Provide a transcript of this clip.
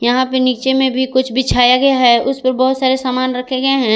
यहां पे नीचे में भी कुछ बिछाया गया है उसपे बहुत सारे सामान रखे गए हैं।